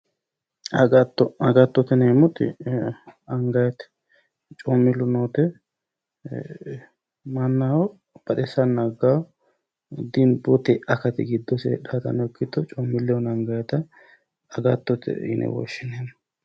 Agatto agattote yinayiti angayite coommillu noote mannaho baxissanna aggaho dimbu akati giddose heedhaatano ikkito coommillehono angayita agattote yine woshshinay